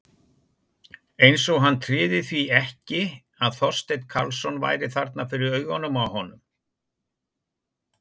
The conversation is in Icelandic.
Eins og hann tryði því ekki að Þorsteinn Karlsson væri þarna fyrir augunum á honum.